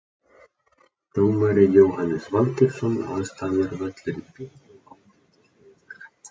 Dómari Jóhannes Valgeirsson Aðstæður Völlurinn fínn og ágætis veður.